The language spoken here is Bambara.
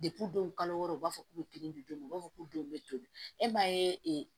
denw kalo wɔɔrɔ u b'a fɔ k'u bɛ kelen di don min o b'a fɔ k'u denw bɛ to e m'a ye